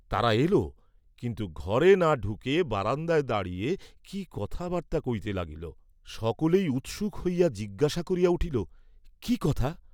তারা এল, কিন্তু ঘরে না ঢুকে বারান্দায় দাঁড়িয়ে কি কথা বার্তা কইতে লাগিল, সকলেই উৎসুক হইয়া জিজ্ঞাসা করিয়া উঠিল, কি কথা!